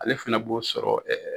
Ale fana b'o sɔrɔ